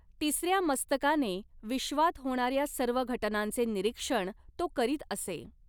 तिसर्या मस्तकाने विश्वात होणार्या सर्व घटनांचे निरीक्षण तो करीत असे.